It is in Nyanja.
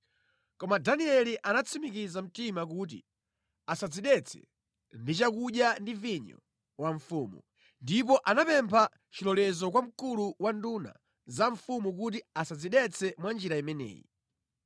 Koma Danieli anatsimikiza mtima kuti asadzidetse ndi chakudya ndi vinyo wa mfumu, ndipo anapempha chilolezo kwa mkulu wa nduna za mfumu kuti asadzidetse mwa njira imeneyi.